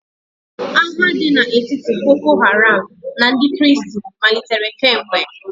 Agha dị n'etiti boko haram na ndị kristi malitere kemgbe.